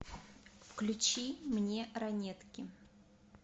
включи мне ранетки